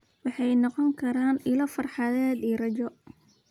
Waxay noqon karaan ilo farxadeed iyo rajo.